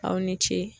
Aw ni ce